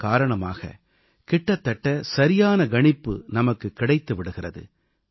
இதன் காரணமாக கிட்டத்தட்ட சரியான கணிப்பு நமக்கு கிடைத்து விடுகிறது